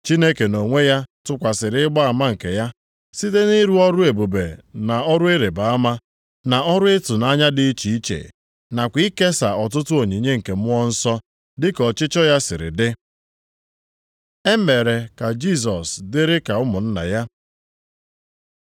Chineke nʼonwe ya tụkwasịrị ịgba ama nke ya, site nʼịrụ ọrụ ebube na ọrụ ịrịbama, na ọrụ ịtụnanya dị iche iche, nakwa ikesa ọtụtụ onyinye nke Mmụọ Nsọ, dị ka ọchịchọ ya siri dị. E mere ka Jisọs dịrị ka ụmụnna ya